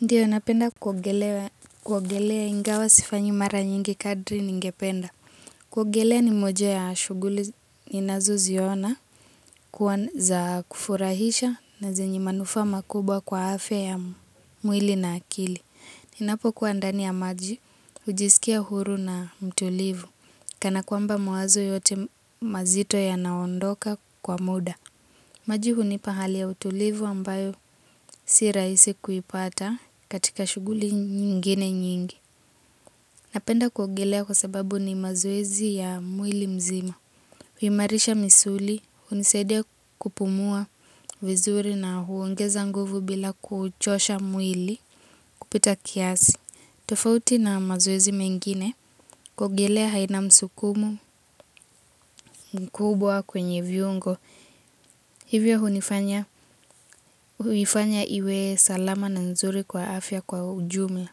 Ndiyo napenda kuogelea ingawa sifanyi mara nyingi kadri ningependa. Kuogelea ni moja ya shughuli ninazoziona kuwa za kufurahisha na zenye manufaa makubwa kwa afya ya mwili na akili. Ninapokuwa ndani ya maji, hujisikia huru na mtulivu, kana kwamba mawazo yote mazito yanaondoka kwa muda. Maji hunipa hali ya utulivu ambayo si rahisi kuipata katika shughuli nyingine nyingi. Napenda kuogelea kwa sababu ni mazoezi ya mwili mzima. Huimarisha misuli, hunisaidia kupumua vizuri na huongeza nguvu bila kuuchosha mwili kupita kiasi. Tofauti na mazoezi mengine, kuogelea haina msukumo mkubwa kwenye viungo. Hivyo huifanya iwe salama na nzuri kwa afya kwa ujumla.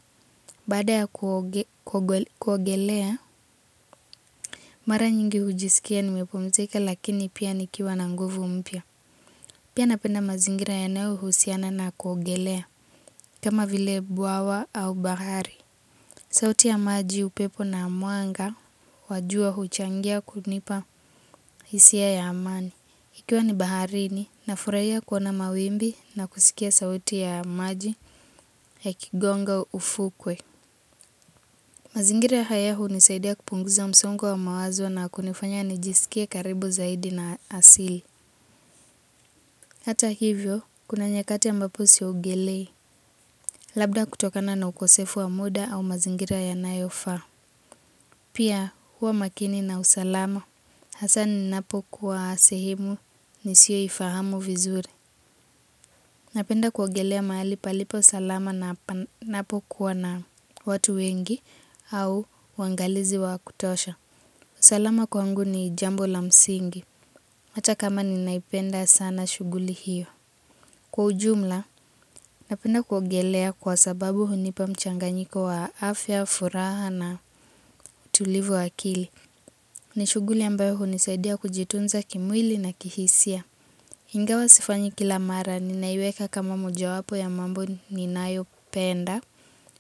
Baada ya kuogelea, mara nyingi hujisikia nimepumzika lakini pia nikiwa na nguvu mpya. Pia napenda mazingira yanayohusiana na kuogelea, kama vile bwawa au bahari. Sauti ya maji upepo na mwanga wajua huchangia kunipa hisia ya amani. Ikiwa ni baharini, nafurahia kuona mawimbi na kusikia sauti ya maji ikigonga ufukwe. Mazingira haya hunisaidia kupunguza msongo wa mawazo na kunifanya nijisikie karibu zaidi na asili. Hata hivyo, kuna nyakati ambapo siogelei, labda kutokana na ukosefu wa muda au mazingira yanayofaa. Pia, huwa makini na usalama. Hasa ninapokuwa sehemu, nisiyoifahamu vizuri. Napenda kuogelea mahali palipo salama na panapokuwa na watu wengi au waangalizi wa kutosha. Usalama kwangu ni jambo la msingi, hata kama ninaipenda sana shughuli hiyo. Kwa ujumla, napenda kuogelea kwa sababu hunipa mchanganyiko wa afya, furaha na utulivu wa akili. Ni shughuli ambayo hunisaidia kujitunza kimwili na kihisia. Ingawa sifanyi kila mara, ninaiweka kama mojawapo ya mambo ninayopenda,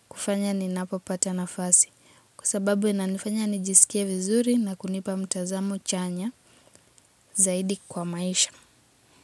kufanya ninapopata nafasi. Kwa sababu inanifanya nijisikie vizuri na kunipa mtazamo chanya zaidi kwa maisha.